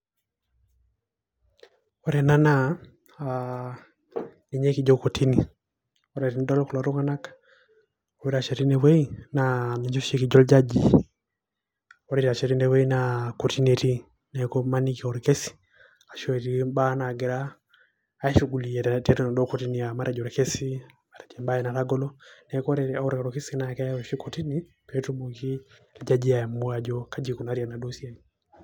Ore ena naa, ah ninye kijo kotini. Ore tenidol kulo tung'anak oitashe tinewei, naa ninche oshi kijo iljajii. Ore itashe tinewei naa kotini etii. Neeku imaniki orkesi ashu etii imbaa nagira ashugulikia tiatua enaduo kotini. Matejo orkesi, matejo ebae natagolo. Neeku ore orkesi na keai oshi kotini petumoki ijajii aamua ajo kaja ikunari enaduo siai.